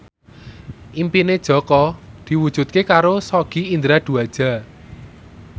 impine Jaka diwujudke karo Sogi Indra Duaja